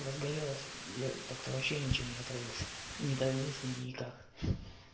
разгорелась я так-то вообще ничем не отравился не долился никак